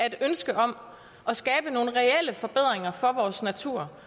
et ønske om at skabe nogle reelle forbedringer for vores natur